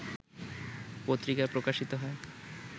পত্রিকায় প্রকাশিত হয়